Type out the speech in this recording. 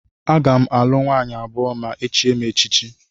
Aga m alụ nwaanyị abụọ ma e chie m echichi